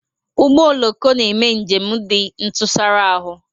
Ụgbọ oloko na-eme njem dị ntụsara ahụ